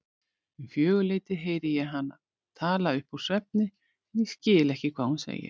Um fjögurleytið heyri ég hana tala uppúr svefni en ég skil ekki hvað hún segir.